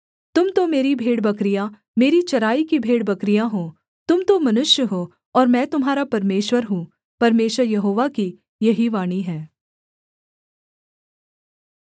तुम तो मेरी भेड़बकरियाँ मेरी चराई की भेड़बकरियाँ हो तुम तो मनुष्य हो और मैं तुम्हारा परमेश्वर हूँ परमेश्वर यहोवा की यही वाणी है